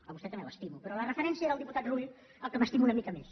a vostè també l’estimo però la referència era al diputat rull al qual m’estimo una mica més